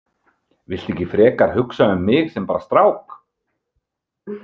Viltu ekki frekar hugsa um mig sem bara strák?